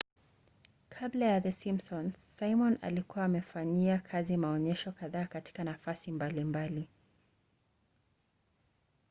kabla ya the simpsons simon alikuwa amefanyia kazi maonyesho kadhaa katika nafasi mbalimbali